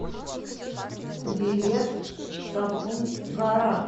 билет сапун гора